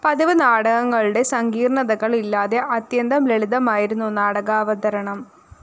പതിവ് നാടകങ്ങളുടെ സങ്കീര്‍ണ്ണതകള്‍ ഇല്ലാതെ അത്യന്തം ലളിതമായിരുന്നു നാടകാവതരണം